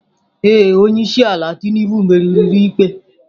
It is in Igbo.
Ee. Onye isi ala Tinubu meriri n'ụlọikpe.